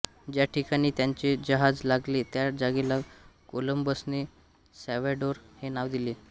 ज्या ठिकाणी त्यांचे जहाज लागले त्या जागेला कोलंबसने सॅल्व्हॅडोर हे नाव दिले